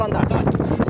Ruslan, dur, qayıt.